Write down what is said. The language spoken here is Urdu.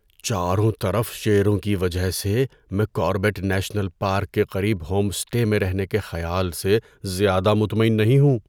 چاروں طرف شیروں کی وجہ سے میں کاربیٹ نیشنل پارک کے قریب ہوم اسٹے میں رہنے کے خیال سے زیادہ مطمئن نہیں ہوں۔